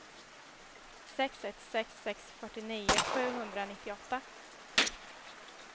sex ett sex sex fyrtionio sjuhundranittioåtta